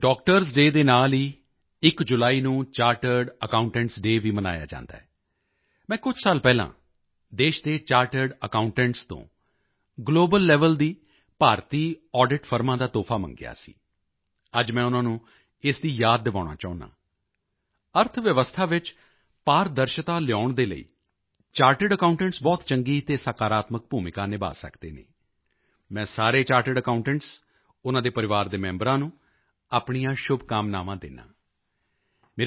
ਸਾਥੀਓ doctors day ਦੇ ਨਾਲ ਹੀ 1 ਜੁਲਾਈ ਨੂੰ ਚਾਰਟਰਡ ਅਕਾਉਂਟੈਂਟਸ ਡੇਅ ਵੀ ਮਨਾਇਆ ਜਾਂਦਾ ਹੈ ਮੈਂ ਕੁਝ ਸਾਲ ਪਹਿਲਾਂ ਦੇਸ਼ ਦੇ ਚਾਰਟਰਡ ਅਕਾਉਂਟੈਂਟਸ ਤੋਂ ਗਲੋਬਲ ਲੈਵਲ ਦੀ ਭਾਰਤੀ ਆਡਿਟ ਫਰਮਾਂ ਦਾ ਤੋਹਫਾ ਮੰਗਿਆ ਸੀ ਅੱਜ ਮੈਂ ਉਨ੍ਹਾਂ ਨੂੰ ਇਸ ਦੀ ਯਾਦ ਦਿਵਾਉਣਾ ਚਾਹੁੰਦਾ ਹਾਂ ਅਰਥਵਿਵਸਥਾ ਵਿੱਚ ਪਾਰਦਰਸ਼ਤਾ ਲਿਆਉਣ ਦੇ ਲਈ ਚਾਰਟਰਡ ਅਕਾਉਂਟੈਂਟਸ ਬਹੁਤ ਚੰਗੀ ਅਤੇ ਸਕਾਰਾਤਮਕ ਭੂਮਿਕਾ ਨਿਭਾ ਸਕਦੇ ਹਨ ਮੈਂ ਸਾਰੇ ਚਾਰਟਰਡ ਅਕਾਉਂਟੈਂਟਸ ਉਨ੍ਹਾਂ ਦੇ ਪਰਿਵਾਰ ਦੇ ਮੈਂਬਰਾਂ ਨੂੰ ਆਪਣੀਆਂ ਸ਼ੁਭਕਾਮਨਾਵਾਂ ਦਿੰਦਾ ਹਾਂ